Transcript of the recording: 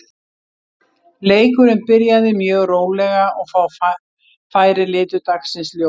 Leikurinn byrjaði mjög rólega og fá færi litu dagsins ljós.